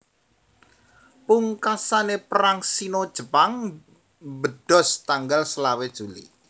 Pungkasane Perang Sino Jepang mbedhos tanggal selawe Juli